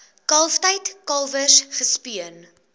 kalftyd kalwers gespeen